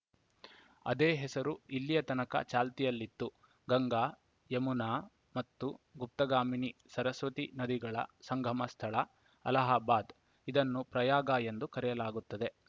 ಅದೇ ಹೆಸರು ಇಲ್ಲಿಯತನಕ ಚಾಲ್ತಿಯಲ್ಲಿತ್ತು ಗಂಗಾ ಯಮುನಾ ಮತ್ತು ಗುಪ್ತಗಾಮಿನಿ ಸರಸ್ವತಿ ನದಿಗಳ ಸಂಗಮ ಸ್ಥಳ ಅಲಹಾಬಾದ್‌ ಇದನ್ನು ಪ್ರಯಾಗ ಎಂದು ಕರೆಯಲಾಗುತ್ತದೆ